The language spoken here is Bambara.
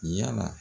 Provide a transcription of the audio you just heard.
Yala